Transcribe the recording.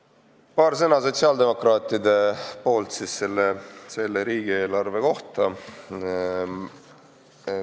Ütlen paar sõna sotsiaaldemokraatide nimel selle riigieelarve kohta.